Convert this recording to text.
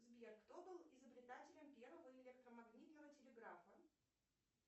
сбер кто был изобретателем первого электромагнитного телеграфа